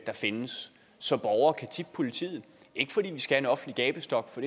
der findes så borgere kan tippe politiet ikke fordi vi skal have en offentlig gabestok for